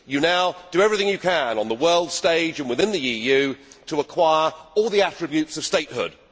You now do everything you can on the world stage and within the EU to acquire all the attributes of statehood.